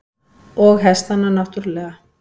Og hestana náttúrlega.